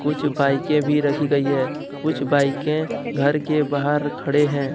कुछ बाईके के भी रखी गई हैं कुछ बाईके घर के बाहर खड़े हैं।